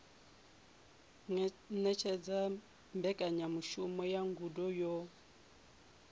ṅetshedza mbekanyamushumo ya ngudo yo